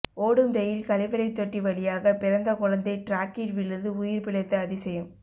ஓடும் ரெயில் கழிவறை தொட்டி வழியாக பிறந்த குழந்தை டிராக்கில் விழுந்து உயிர் பிழைத்த அதிசயம்